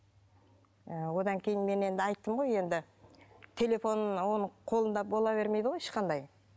ы одан кейін мен енді айттым ғой енді телефонын оның қолында бола бермейді ғой ешқандай